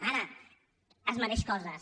ara es mereix coses